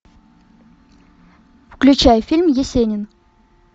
включай фильм есенин